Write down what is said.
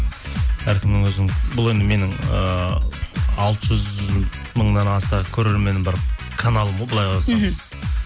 әркімнің өзінің бұл енді менің ыыы алты жүз мыңнан аса көрерменім бар каналым ғой былай қарасаңыз